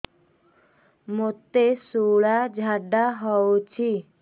ମୋତେ ଶୂଳା ଝାଡ଼ା ହଉଚି